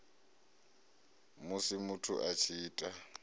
musi muthu a tshi ita